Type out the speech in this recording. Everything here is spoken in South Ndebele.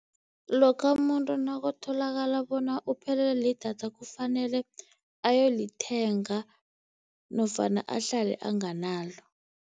Lokha umuntu nakutholakala bona uphelelwe lidatha, kufanele ayolithenga nofana ahlale anganalo.